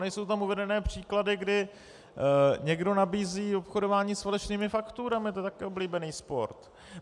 Nejsou tam uvedené příklady, kdy někdo nabízí obchodování s falešnými fakturami, to je taky oblíbený sport.